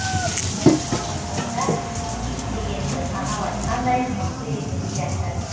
ал шындығында ит дегеніміз анау айтқандай мықты емес сияқты